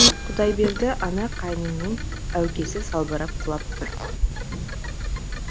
құдай берді ана қайныңның әукесі салбырап құлап тұр